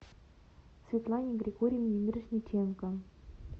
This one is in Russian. светлане григорьевне мирошниченко